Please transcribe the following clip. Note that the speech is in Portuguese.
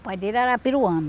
O pai dele era peruano.